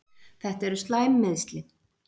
Þetta eru slæm meiðsli.